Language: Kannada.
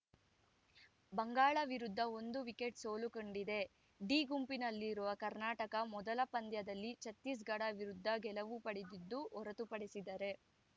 ಬಂಗಾಳ ವಿರುದ್ಧ ಒಂದು ವಿಕೆಟ್‌ ಸೋಲು ಕಂಡಿದೆ ಡಿ ಗುಂಪಿನಲ್ಲಿರುವ ಕರ್ನಾಟಕ ಮೊದಲ ಪಂದ್ಯದಲ್ಲಿ ಛತ್ತೀಸ್‌ಗಢ ವಿರುದ್ಧ ಗೆಲುವು ಪಡೆದಿದ್ದು ಹೊರತುಪಡಿಸಿದರೆ